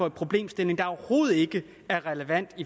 en problemstilling der overhovedet ikke er relevant